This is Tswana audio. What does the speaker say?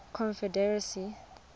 confederacy